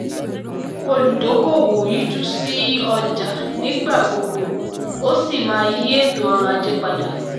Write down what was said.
olùdókòwò yíjú sí ọjà nígbà gbogbo ó sì máa yí ètò ọrọ̀ ajé padà.